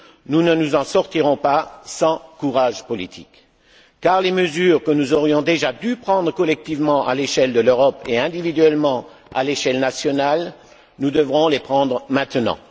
Nous ne nous en sortirons pas sans courage politique, car les mesures que nous aurions déjà dû prendre collectivement à l'échelle de l'Europe et, individuellement, à l'échelle nationale, nous devrons les prendre maintenant.